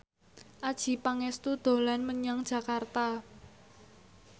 Adjie Pangestu dolan menyang Jakarta